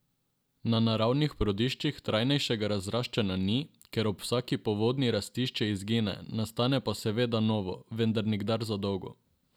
Na naravnih prodiščih trajnejšega razraščanja ni, ker ob vsaki povodnji rastišče izgine, nastane pa seveda novo, vendar nikdar za dolgo.